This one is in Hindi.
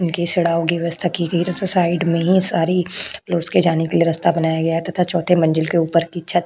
उनके की व्यवस्था की गई। साइड में ही सारी लोड्स के जाने के लिए रस्ता बन गया है तथा चौथे मंजिल के ऊपर की छत --